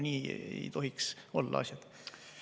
Nii ei tohiks asjad olla.